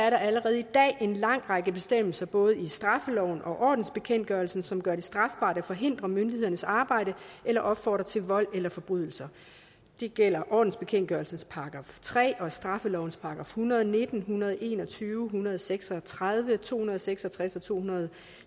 allerede i dag er en lang række bestemmelser i både straffeloven og ordensbekendtgørelsen som gør det strafbart at forhindre myndighedernes arbejde eller opfordre til vold eller forbrydelser det gælder ordensbekendtgørelsens § tre og straffelovens § en hundrede og nitten en hundrede og en og tyve en hundrede og seks og tredive to hundrede og seks og tres og to hundrede og